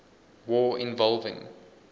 war involving